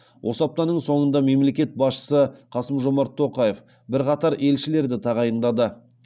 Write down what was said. осы аптаның соңында мемлекет басшысы қасым жомарт тоқаев бірқатар елшілерді тағайындады